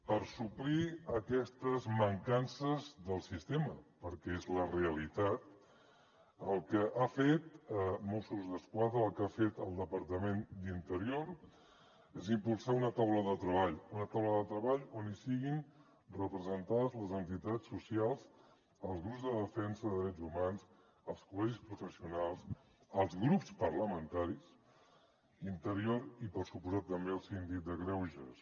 per suplir aquestes mancances del sistema perquè és la realitat el que ha fet mossos d’esquadra el que ha fet el departament d’interior és impulsar una taula de treball una taula de treball on hi siguin representades les entitats socials els grups de defensa de drets humans els col·legis professionals els grups parlamentaris interior i per descomptat també el síndic de greuges